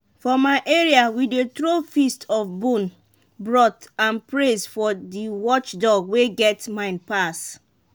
for my area we dey throw feast of bone broth and praise for the watchdog wey get mind pass.